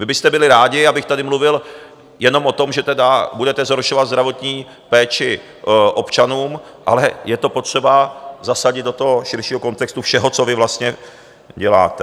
Vy byste byli rádi, abych tady mluvil jenom o tom, že tedy budete zhoršovat zdravotní péči občanům, ale je to potřeba zasadit do toho širšího kontextu všeho, co vy vlastně děláte.